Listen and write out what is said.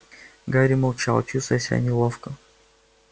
гарри молчал чувствуя себя неловко